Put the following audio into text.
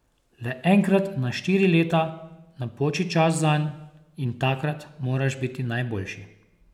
Le enkrat na štiri leta napoči čas zanj in takrat moraš biti najboljši.